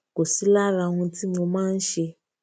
kò sí lára ohun tí mo máa ń ṣe